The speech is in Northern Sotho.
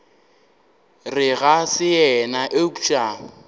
re ga se yena eupša